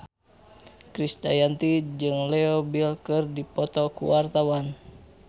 Krisdayanti jeung Leo Bill keur dipoto ku wartawan